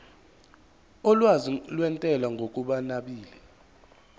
olwazi lwentela ngokunabile